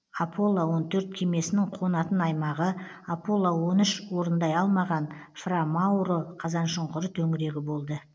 аполло он төрт кемесінің қонатын аймағы аполло он үш орындай алмаған фра мауро қазаншұңқыр төңірегі болды